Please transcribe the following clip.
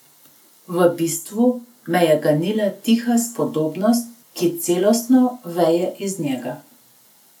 V bistvu me je ganila tiha spodobnost, ki celostno veje iz njega.